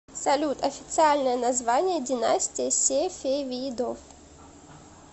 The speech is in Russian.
салют официальное название династия сефевидов